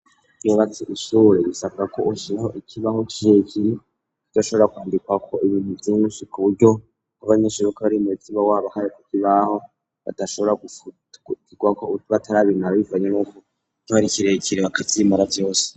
Imubazi ishure gisabwa ko ushiraho ikibaho kijekire kico shobora kwandikwa ko ibintu vyinshi ku buryo k'abanyeshuruka bari mu butima waba ahaye ku kibaho badashobora gfturwa ko ubutu batarabimara bivanye n'uko tubarikirekiriwa akazimora vyose.